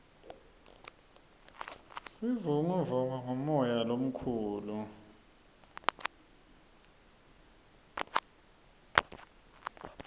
sivunguvungu ngumoya lomukhulu